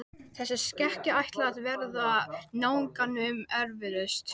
Ef það er ekki ég, hver er það þá?